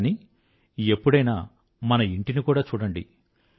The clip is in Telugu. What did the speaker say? కానీ ఎప్పుడైనా మన ఇంటిని కూడా చూడండి